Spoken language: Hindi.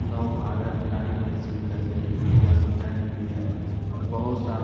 नव भारत टाइम ऐसे करके लिखा हुआ है मिनट भी है और बहुत सारा --